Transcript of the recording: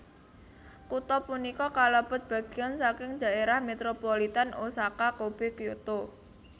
Kutha punika kalebet bagéyan saking dhaérah metropolitan Osaka Kobe Kyoto